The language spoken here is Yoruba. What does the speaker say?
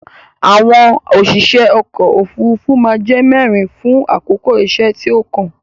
Àwọn òṣìṣe ọkò òfurufú má a jẹ́ mẹ́rin fún àkókò iṣẹ́ tí ó kàn.